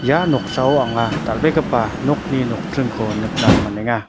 ia noksao anga dal·begipa nokni nokdringko nikna man·enga.